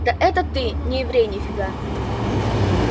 да это ты не еврей ни фига